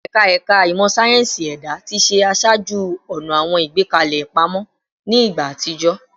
Ẹ̀ka Ẹ̀ka Ìmọ̀ sáyẹ́ǹsì Ẹ̀dá ti ṣe aṣáájú-ọ̀nà àwọn ìgbékalẹ̀ ìpamọ́ ní ìgbà àtijọ́